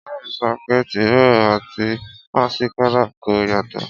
ìyá míí sọ pé tìróò àti másíkárà kò yàtọ̀.